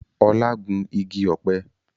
Ọlá gún igi ọ̀pẹ